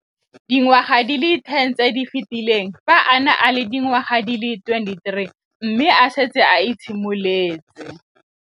Dingwaga di le 10 tse di fetileng, fa a ne a le dingwaga di le 23 mme a setse a itshimoletse